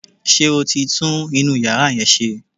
Ṣé o ti tún inú yàrá yẹn ṣe?